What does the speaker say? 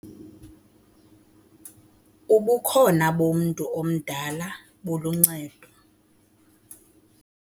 Ubukhona bomntu omdala buluncedo.